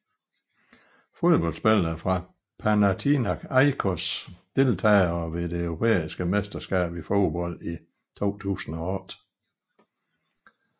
Fodboldspillere fra Panathinaikos Deltagere ved det europæiske mesterskab i fodbold 2008